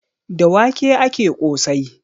Da wake ake ƙosai.